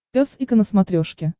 пес и ко на смотрешке